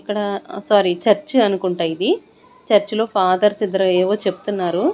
ఇక్కడ sorry church అనుకుంటా ఇది చర్చిలో ఫాదర్స్ ఇద్దరు ఏవో చెప్తున్నారు.